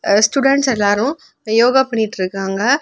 அ students எல்லாரும் yoga பண்ணிட்டு இருக்காங்க.